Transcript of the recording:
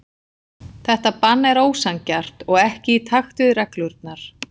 Þetta bann er ósanngjarnt og ekki í takt við reglurnar.